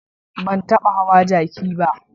Ban taba hawa jaki ba.